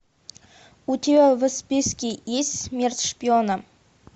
у тебя в списке есть смерть шпиона